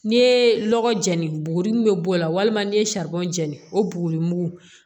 N'i ye lɔgɔ jeni n buguruni bɛ bɔ a la walima n'i ye jɛni o buguri mugu